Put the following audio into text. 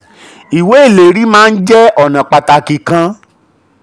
38. ìwé ìlérí maa ń jẹ́ ọ̀nà pàtàkì kan.